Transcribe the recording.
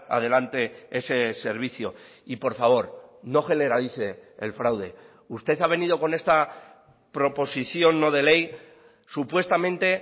adelante ese servicio y por favor no generalice el fraude usted ha venido con esta proposición no de ley supuestamente